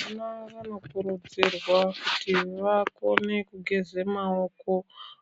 Vana vanokurudzirwa kuti vakone kugeza maoko